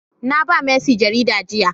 Naba mercy jaridar jiya.